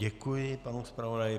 Děkuji panu zpravodaji.